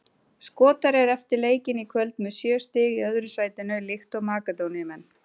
Skotar eru eftir leikinn í kvöld með sjö stig í öðru sætinu líkt og Makedóníumenn.